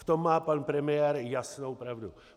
V tom má pan premiér jasnou pravdu.